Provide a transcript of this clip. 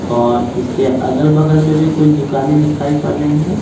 और इसके अगल-बगल में भी कुछ दुकानें दिखाई पड़ रही हैं।